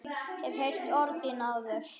Hef heyrt orð þín áður.